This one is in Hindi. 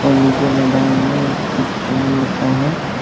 नीचे मैदान में कुछ समान रखा है।